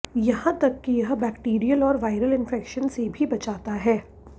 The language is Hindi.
यहां तक कि यह बैक्टेरियल और वाइरल इंफेक्शन से भी बचाता है